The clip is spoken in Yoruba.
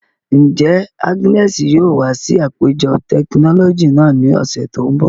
Njẹ Agnes yoo wa si apejọ tekinọlọji naa ni ọsẹ to nbọ?